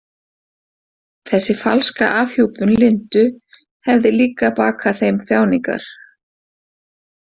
Þessi falska afhjúpun Lindu hefði líka bakað þeim þjáningar.